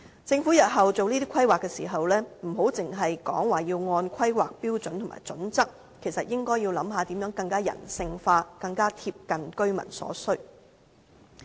政府日後規劃時，不要只是說要根據《香港規劃標準與準則》行事，而應該考慮如何能夠更加人性化、更加貼近居民所需。